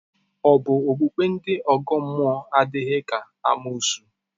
Ọ̀ bụ na okpukpe ndị ọgọ mmụọ adịghị ka amoosu?